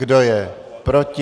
Kdo je proti?